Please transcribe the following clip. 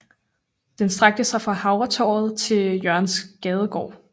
Den strakte sig fra Havretorvet til Jørgensgaardgade